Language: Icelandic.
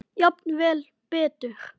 Jafnvel betur.